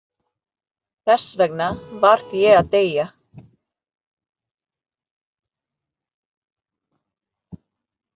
Þess vegna varð ég að deyja.